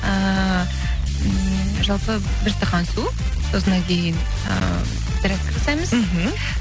ыыы м жалпы бір стақан су сосын ы зарядка жасаймыз мхм